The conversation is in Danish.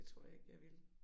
Det tror jeg ikke jeg ville